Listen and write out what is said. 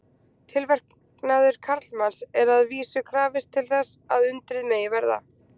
Tilverknaðar karlmanns er að vísu krafist til þess að undrið megi verða.